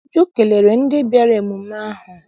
Uju kelere ndị bịara emume ahụ.